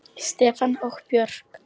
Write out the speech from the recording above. Stefán og Björk.